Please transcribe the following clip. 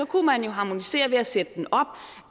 kunne man jo harmonisere ved at sætte den op